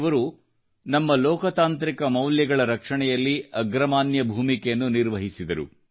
ಯವರು ನಮ್ಮ ಲೋಕತಾಂತ್ರಿಕ ಮೌಲ್ಯಗಳ ರಕ್ಷಣೆಯಲ್ಲಿ ಅಗ್ರಮಾನ್ಯ ಭೂಮಿಕೆಯನ್ನು ನಿರ್ವಹಿಸಿದರು